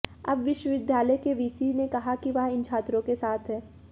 अब विश्वविद्यालय की वीसी ने कहा है कि वह इन छात्रों के साथ हैं